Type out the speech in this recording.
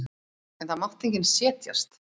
En það mátti enginn setjast.